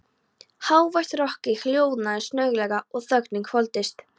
Hávært rokkið hljóðnaði snögglega og þögnin hvolfdist yfir.